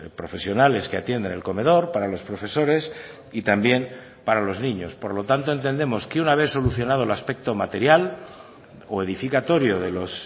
profesionales que atienden el comedor para los profesores y también para los niños por lo tanto entendemos que una vez solucionado el aspecto material o edificatorio de los